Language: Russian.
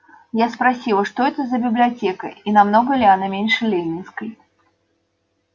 я спросила что это за библиотека и намного ли она меньше ленинской